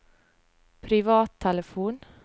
privattelefon